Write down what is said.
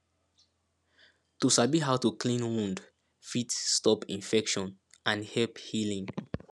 to sabi how to clean wound fit stop infection and help healing